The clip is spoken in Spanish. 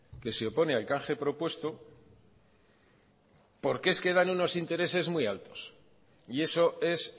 que se opone al canje propuesto porque dan unos intereses muy altos y eso es